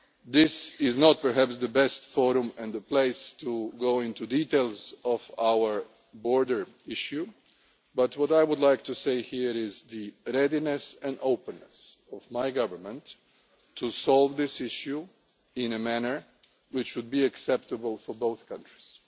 This is not perhaps the best forum or the place to go into details of our border issue, but what I would like to stress here is my government's readiness and openness to solve this issue in a manner which would be acceptable for both countries,